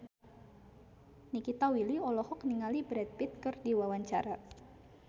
Nikita Willy olohok ningali Brad Pitt keur diwawancara